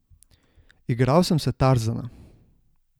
Igral sem se Tarzana.